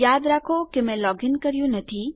યાદ રાખો મેં લોગીન કર્યું નથી